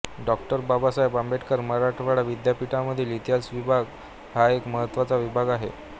डॉ बाबासाहेब आंबेडकर मराठवाडा विद्यापीठामधील इतिहास विभाग हा एक महत्त्वाचा विभाग आहे